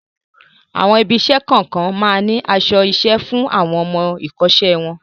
Àwọn ibi-iṣẹ́ kọ̀ọ̀kan máa ń ní aṣọ-iṣẹ́ fún àwọn ọmọ-ìkọ́ṣẹ́ wọn.